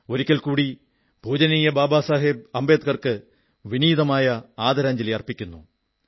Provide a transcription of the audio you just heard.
ഒരിക്കൽ കൂടി പൂജനീയ ബാബാ സാഹബ് അംബേദ്കർക്ക് വിനീതമായ ആദരാഞ്ജലി അർപ്പിക്കുന്നു